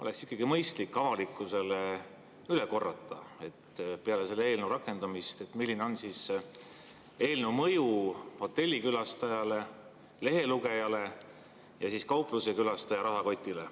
Oleks ikkagi mõistlik avalikkusele üle korrata, milline on peale selle eelnõu rakendamist eelnõu mõju hotellikülastajale, lehelugejale ja kauplusekülastaja rahakotile.